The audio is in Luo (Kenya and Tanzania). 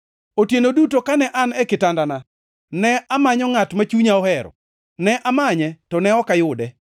Otieno duto kane an e kitandana, ne amanyo ngʼat ma chunya ohero; ne amanye to ne ok ayude.